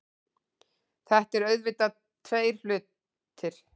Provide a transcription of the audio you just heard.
Þetta eru auðvitað tveir hlutir